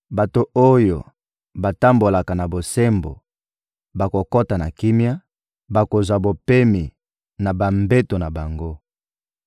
Bato oyo batambolaka na bosembo bakokota na kimia, bakozwa bopemi na bambeto na bango.